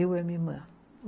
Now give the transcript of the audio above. Eu e a minha irmã.